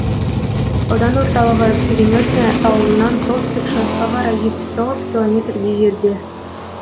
аудан орталығы переметное ауылынан солтүстік шығысқа қарай жетпіс тоғыз километрдей жерде